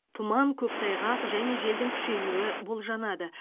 тұман көктайғақ және желдің күшеюі болжанады